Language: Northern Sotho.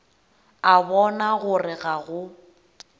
a bona gore ga go